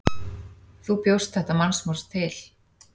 Þú bjóst þetta mannsmorð til.